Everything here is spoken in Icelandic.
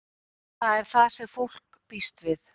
Það er það sem fólk býst við.